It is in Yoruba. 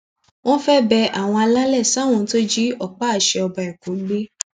wọn fẹẹ bẹ àwọn alálẹ sáwọn tó jí ọpá àṣẹ ọba ẹkọ gbé